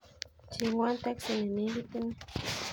Chengwon teksi nenegit inei